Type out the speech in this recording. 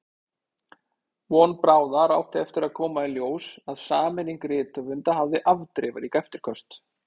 Von bráðar átti eftir að koma í ljós að sameining rithöfunda hafði afdrifarík eftirköst.